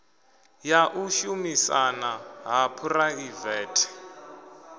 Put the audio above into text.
ya u shumisana ha phuraivethe